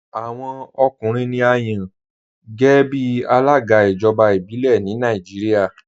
Awọn ọkùnrin ni à yàn géẹ̀bí alága ijọba ibilẹ̀ ni Nàìjíríà.